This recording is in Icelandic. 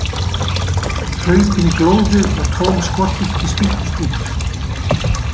Hlaupin glóðu og tóm skothylki spýttust út.